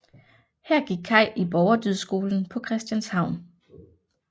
Her gik Kai i Borgerdydskolen på Christianshavn